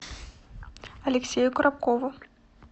алексею коробкову